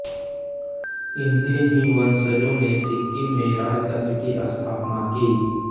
इनके ही वंशजों ने सिक्किम में राजतन्त्र की स्थापना की